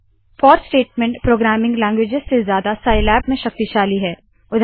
four statement programming languages से ज्यादा Scilab में शक्तिशाली है